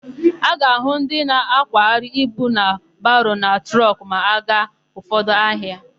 A ga-ahụ ndị na-akwagharị ibu na baro na trọkụ ma a gaa ụfọdụ ahịa.